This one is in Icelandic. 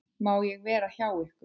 Má ég vera hjá ykkur?